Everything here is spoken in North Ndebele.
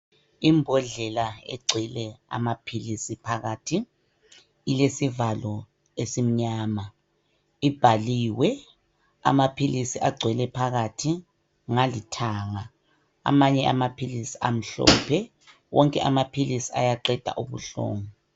Imbodlela egcwele amaphilisi phakathi ilesivalo esimnyama, ibhaliwe amaphilisi agcwele phakathi ngalithanga, amanye amaphilisi amhlophe. Wonke amaphilisi ayaqeda ubuhlungu.